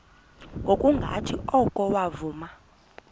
ngokungathi oko wavuma